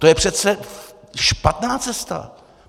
To je přece špatná cesta.